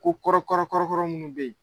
Ko kɔrɔkɔrɔkɔrɔ munnu bE ye